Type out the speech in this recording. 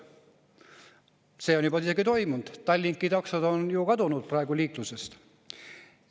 See on juba isegi toimunud: Tallinki taksod on ju praegu kadunud liiklusest.